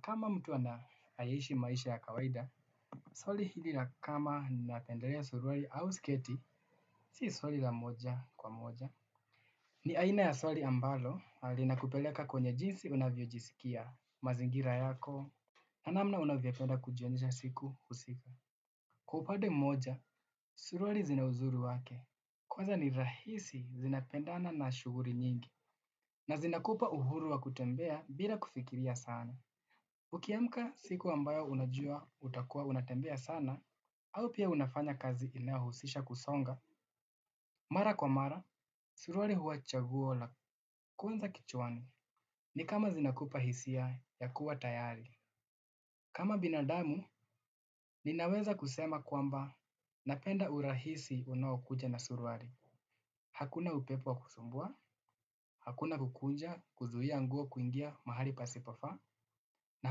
Kama mtu anae ishi maisha ya kawaida swali hili la kama ninapendela suruali au sketi sio swali la moja kwa moja. Ni aina ya swali ambalo, linakupeleka kwenye jinsi unavyojisikia, mazingira yako, na namna unavyapenda kujionja siku husika. Kwa upade moja, surualii zina uzuri wake, kwaza ni rahisi zinapendana na shughuli nyingi. Na zinakupa uhuru wa kutembea bila kufikiria sana. Ukiamka siku ambayo unajua utakua unatembea sana, au pia unafanya kazi inayohusisha kusonga, mara kwa mara, suruali hua ni chagua la kuunza kichwani ni kama zinakupa hisia ya kuwa tayari. Kama binadamu, ninaweza kusema kwamba napenda urahisi unaokuja na suruali. Hakuna upepo kusumbua, hakuna kukuja kuzuia nguo kuingia mahali pasipofaa, na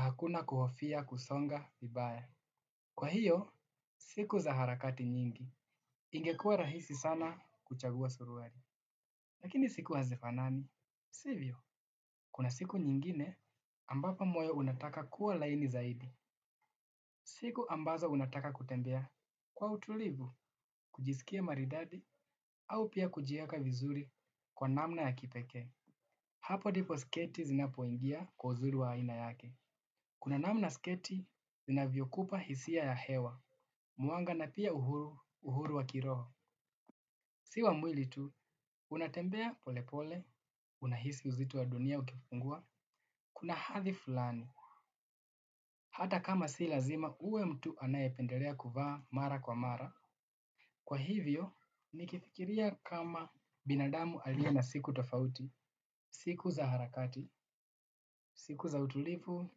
hakuna kuhofia kusonga vibaya. Kwa hiyo, siku za harakati nyingi. Ingekua rahisi sana kuchagua suruali. Lakini siku hazifanani. Sivyo, kuna siku nyingine ambapo moyo unataka kuwa laini zaidi. Siku ambazo unataka kutembea. Kwa utulivu, kujisikia maridadi au pia kujieka vizuri kwa namna ya kipeke. Hapo ndipo sketi zinapo ingia kwa uzuri wa aina yake. Kuna namna sketi inavyokupa hisia ya hewa mwanga na pia uhuru wa kiroho si wa mwili tu unatembea pole pole unahisi uzito wa dunia ukipungua kuna hadhi fulani hata kama si lazima uwe mtu anae pendelea kuvaa mara kwa mara kwa hivyo nikifikiria kama binadamu alie na siku tofauti siku za harakati siku za utulivu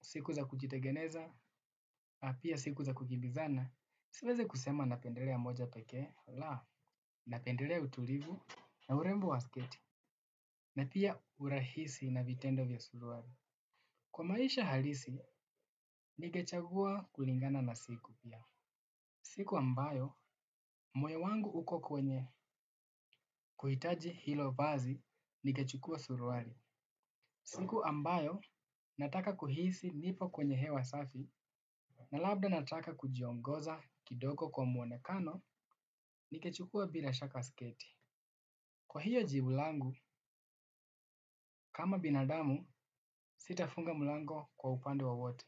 siku za kujitengeneza na pia siku za kukimbizana siwezi sema napendelea moja pekee laa napendelea utulivu na urembo wa sketi na pia urahisi na vitendo vya suruali kwa maisha halisi ningechagua kulingana na siku siku ambayo moyo wangu uko kwenye kuhitaji hilo vazi ningechukua suruali. Siku ambayo, nataka kuhisi nipo kwenye hewa safi, na labda nataka kujiongoza kidogo kwa muonekano, nigechukua bila shaka sketi. Kwa hiyo jibu langu, kama binadamu, sitafunga mlango kwa upande wowote.